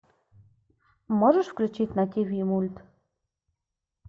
можешь включить на тиви мульт